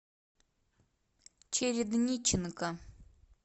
чередниченко